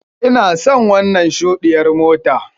Ina son wannan shudiyyar mota.